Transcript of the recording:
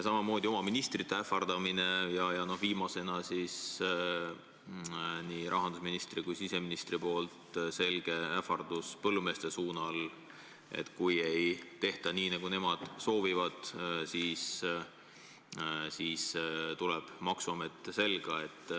Samamoodi oma ministrite ähvardamine ja viimasena nii rahandusministri kui siseministri selge ähvardus põllumeestele, et kui ei tehta nii, nagu nemad soovivad, siis tuleb maksuamet selga.